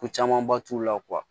Ko camanba t'u la